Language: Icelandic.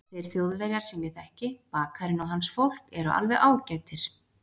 Þeir Þjóðverjar sem ég þekki, bakarinn og hans fólk, eru alveg ágætir.